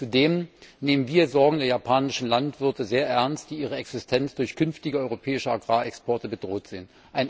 Zudem nehmen wir Sorgen der japanischen Landwirte sehr ernst, die ihre Existenz durch künftige europäische Agrarexporte bedroht sehen.